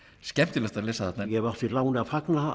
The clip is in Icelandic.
skemmtilegast að lesa þarna ég hef átt því láni að fagna